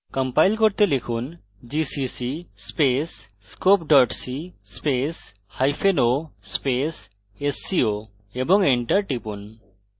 compile করতে লিখুন gcc scope co sco এবং enter টিপুন